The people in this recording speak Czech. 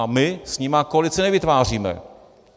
A my s nimi koalici nevytváříme.